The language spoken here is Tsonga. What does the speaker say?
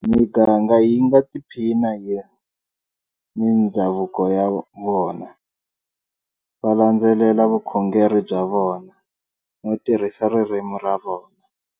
Miganga yi nga tiphina hi mindzhavuko ya yona, va landzelela vukhongeri bya vona, no tirhisa ririmi ra vona.